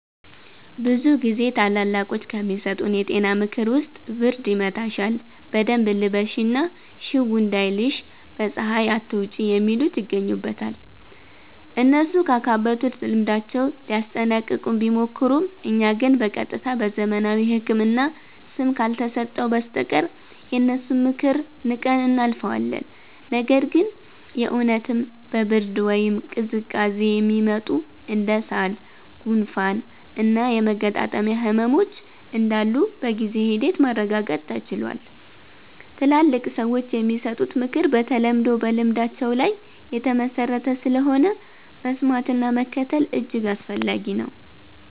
ብዙ ጊዜ ታላላቆች ከሚሰጡን የጤና ምክር ውስጥ ብርድ ይመታሻል በደንብ ልበሺ እና ሽው እንዳይልሽ በ ፀሃይ አትውጪ የሚሉት ይገኙበታል። እነሱ ካካበቱት ልምዳቸው ሊያስጠነቅቁን ቢሞክሩም እኛ ግን በ ቀጥታ በዘመናዊው ህክምና ስም ካልተሰጠው በስተቀር የነሱን ምክር ንቀን እናልፈዋለን። ነገር ግን የ እውነትም በ ብርድ ወይም ቅዝቃዜ የሚመጡ እንደ ሳል፣ ጉንፋን እና የመገጣጠሚያ ህመሞች እንዳሉ በጊዜ ሂደት ማረጋገጥ ተችሏል። ትላልቅ ሰዎች የሚሰጡት ምክር በተለምዶ በልምዳቸው ላይ የተመሠረተ ስለሆነ፣ መስማትና መከተል እጅግ አስፈላጊ ነው።